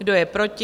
Kdo je proti?